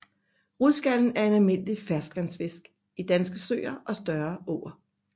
Rudskallen er en almindelig ferskvandsfisk i danske søer og større åer